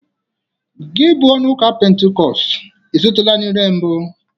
Gi bụ onye ụka pentikọst, ị sụtụla n'ire mbụ?